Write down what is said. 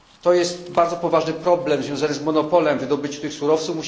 Jest to bardzo poważny problem związany z monopolem wydobycia tych surowców.